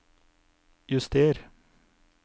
juster